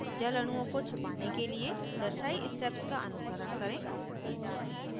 जल अणुओं को छिपाने के लिए दर्शायी steps का अनुसरण करें